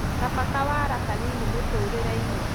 kaba kawara kanini mũtũrĩre-inĩ